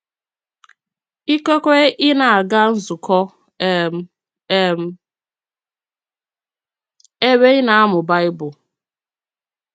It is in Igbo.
Ìkekwe ị nā-agà nzukọ um um ébé ị na-amụ Baịbụl.